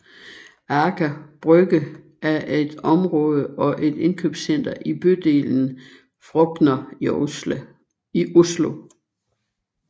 Aker Brygge er et område og et indkøbscenter i bydelen Frogner i Oslo